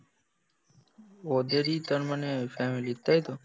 ওদের ই তার মানে ফ্যামিলির তাই তো?